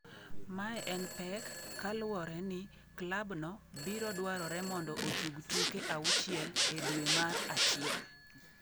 Mae en pek ka luwore ni klabno biro dwarore mondo otug tuke auchiel e due mar achiel.